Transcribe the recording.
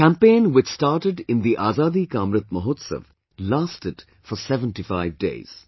This campaign which started in the Azadi Ka Amrit Mahotsav lasted for 75 days